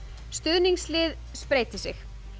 stuðningslið spreytir sig